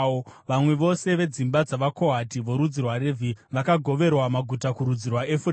Vamwe vose vedzimba dzavaKohati, vorudzi rwaRevhi vakagoverwa maguta kurudzi rwaEfuremu: